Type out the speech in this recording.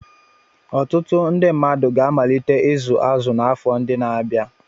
Ọtụtụ ndị mmadụ ga-amalite ịzụ azụ n'afọ ndị na-abịa.